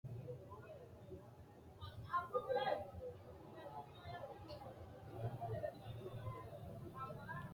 knuni maa leellishanno ? danano maati ? badheenni noori hiitto kuulaati ? mayi horo afirino ? tini hiitto sagaleeti hiittte gobbara fultannote